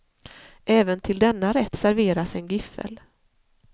Även till denna rätt serveras en giffel.